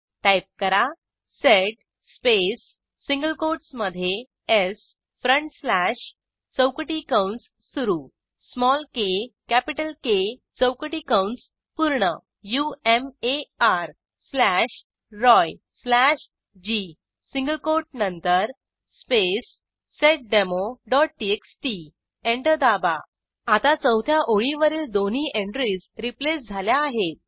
type करा sed space single कोटसमधे s front slash चौकटी कंस सुरू स्मॉल के कॅपिटल के चौकटी कंस पूर्ण Umar slash Roy slash g single quote नंतर स्पेस seddemoटीएक्सटी एंटर दाबा आता चौथ्या ओळीवरील दोन्ही एंट्रीज रिप्लेस झाल्या आहेत